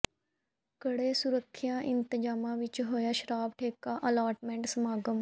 ਕੜੇ ਸੁਰੱਖਿਆ ਇੰਤਜਾਮਾਂ ਵਿੱਚ ਹੋਇਆ ਸ਼ਰਾਬ ਠੇਕਾ ਅਲਾਟਮੇਂਟ ਸਮਾਗਮ